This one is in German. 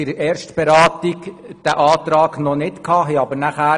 der SiK. Dieser Antrag lag der Kommission während der Erstberatung noch nicht vor.